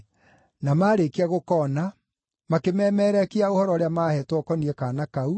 Na maarĩkia gũkoona, makĩmemerekia ũhoro ũrĩa maaheetwo ũkoniĩ kaana kau,